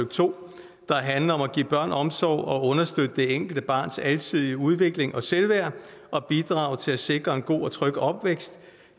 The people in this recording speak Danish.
to der handler om at give børn omsorg og understøtte det enkelte barns alsidige udvikling og selvværd og bidrage til at sikre en god og tryg opvækst